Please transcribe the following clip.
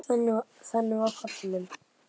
Þannig var hann pabbi minn.